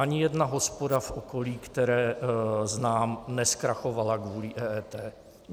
Ani jedna hospoda v okolí, které znám, nezkrachovala kvůli EET.